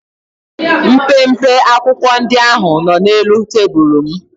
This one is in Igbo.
Mpempe akwụkwọ ndị ahụ nọ n'elu tebụlụ m.